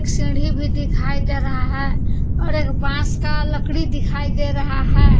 सीढ़ी भी दिखाई दे रहा है और एक बांस का लकड़ी दिखाई दे रहा है।